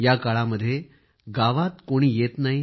या काळामध्ये गावामध्ये कोणी येत नाही